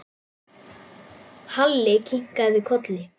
Halli kinkaði kolli.